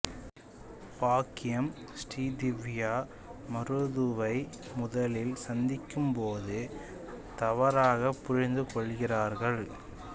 பாக்யம் ஸ்ரீ திவ்யா மருதுவை முதலில் சந்திக்கும்போது தவறாகப் புரிந்துகொள்கிறாள்